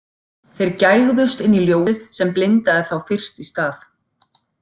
Þeir gægðust inn í ljósið sem blindaði þá fyrst í stað.